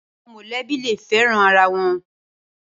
Awòn mòlèbí lé fèrán àrá wòn